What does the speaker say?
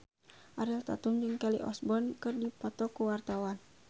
Ariel Tatum jeung Kelly Osbourne keur dipoto ku wartawan